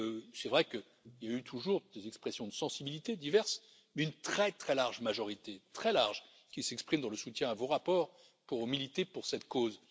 C'est vrai qu'il y a toujours eu des expressions de sensibilités diverses, une très large majorité, très large, qui s'exprime dans le soutien à vos rapports pour militer pour cette cause.